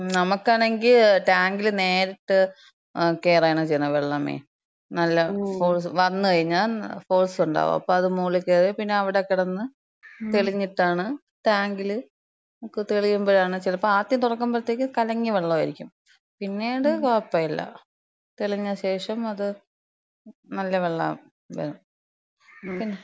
നമ്മക്കാണെങ്കില്, ടാങ്കില് നേരിട്ട് കേറാണ് ചെയ്യണേ. വെള്ളമേ, നല്ല ഫോഴ്സ്, വന്ന് കഴിഞ്ഞാ. ഫോഴ്സ്ണ്ടാവും. അപ്പം അത് മോളി കേറി പിന്നെ അവ്ടെ കെടന്ന് തെളിഞ്ഞിട്ടാണ് ടാങ്കില്, ഒക്കെ തെളിയ്മ്പഴാണ്. ചെലപ്പം ആദ്യം തൊറക്കുമ്പത്തേക്കിന് കലങ്ങിയ വെള്ളായിരിക്കും. പിന്നീട് കൊഴപ്പല്യ. തെളിഞ്ഞ ശേഷം അത് നല്ല വെള്ളാവും. പിന്നെ,